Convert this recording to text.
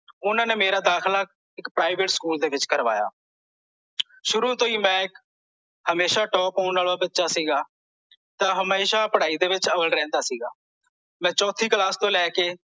ਓਹਨਾਂ ਨੇ ਮੇਰਾ ਦਾਖਿਲ ਇੱਕ private ਸਕੂਲ ਵਿੱਚ ਕਰਾਇਆ ਸ਼ੁਰੂ ਤੋਂ ਹੀ ਮੈਂ ਇੱਕ ਹਮੇਸ਼ਾ top ਆਉਣ ਵਾਲਾ ਬੱਚਾ ਸੀਗਾ ਤਾਂ ਹਮੇਸ਼ਾ ਪੜ੍ਹਾਈ ਦੇ ਵਿੱਚ ਅੱਵਲ ਰਹਿੰਦਾ ਸੀ ਮੈਂ ਚੌਥੀ ਕਲਾਸ ਤੋਂ ਲੈ ਕੇ